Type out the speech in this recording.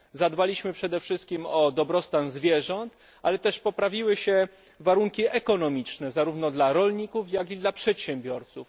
Zadbaliśmy przede wszystkim o dobrostan zwierząt, ale poprawiły się też warunki ekonomiczne, zarówno dla rolników, jak i dla przedsiębiorców.